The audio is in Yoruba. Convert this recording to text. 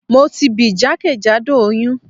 Mo ti bì jakejado oyun